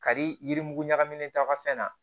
Kari yiri ɲagamina ta ka fɛn na